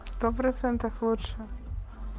сто процентов лучше